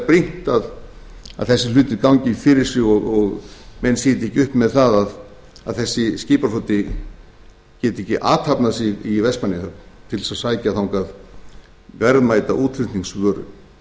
er brýnt að þessir hlutir gangi fyrir sig og menn sitji ekki uppi með það að þessi skipafloti geti ekki athafnað sig í vestmannaeyjahöfn til að sækja þangað verðmæta útflutningsvöru komur